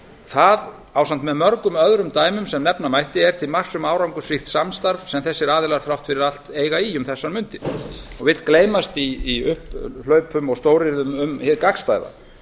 það ásamt með mörgum öðrum dæmum sem nefna mætti er til marks um árangursríkt samstarf sem þessir aðilar þrátt fyrir allt eiga í um þessar mundir og vill gleymast í upphlaupum og stóryrðum um hið gagnstæða